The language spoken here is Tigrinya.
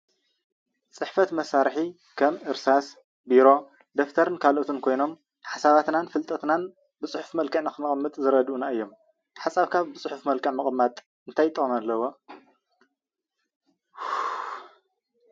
ፅሕፈት መሳርሒ ከም እርሳስ፣ ቢሮ፣ ደፍተርን ካልኦትን ኮይኖም ሓሳባትናን ፍልጠትናን ብፁሑፍ መልክዕ ንከነቅምጥ ዝረድኡና እዮም፡፡ ሓሳብካ ብፅሑፍ ምቅማጥ እንታይ ጥቅሚ ኣለዎ?